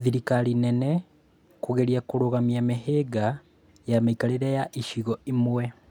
Thirikari nene kũgeria kũrũgamia mĩhĩnga ya mĩikarĩre ya gĩcigo imwe